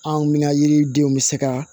Anw mina yiridenw bɛ se ka